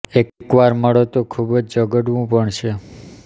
એક વાર મળો તો ખૂબ જ ઝઘડવું પણ છે